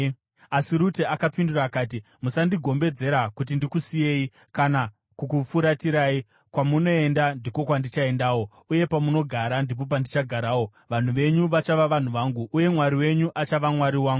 Asi Rute akapindura akati, “Musandigombedzera kuti ndikusiyei kana kukufuratirai. Kwamunoenda ndiko kwandichaendawo, uye pamunogara ndipo pandichagarawo. Vanhu venyu vachava vanhu vangu uye Mwari wenyu achava Mwari wangu.